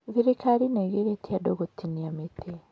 Thirikari nĩ ĩgirĩtie andũ gũtinia mĩtĩ.